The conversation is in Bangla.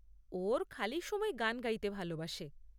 ও ওর খালি সময়ে গান গাইতে ভালোবাসে।